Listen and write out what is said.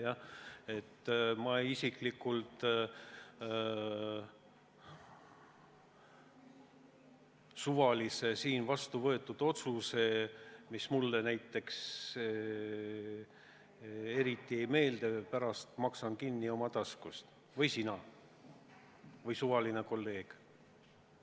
Mõte on siis, et ma isiklikult maksan suvalise siin vastu võetud otsuse, mis mulle eriti ei meeldi, kinni oma taskust või maksad sina või maksab meie suvaline kolleeg.